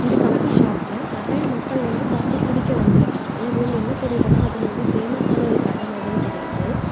இந்த காபி ஷாப்ல நெறைய மக்கள் வந்து காபி குடிக்க வந்துருக்காங்க இதுல இருந்து என்ன தெரியுதுனா அது ரொம்ப பேமஸ் ஆன ஒரு கட மாதிரி தெரியுது.